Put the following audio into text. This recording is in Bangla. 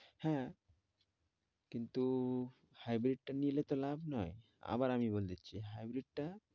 হ্যাঁ কিন্তু hybrid টা নিয়ে এলে তো লাভ নই, আবার আমি বলে দিচ্ছি hybrid টা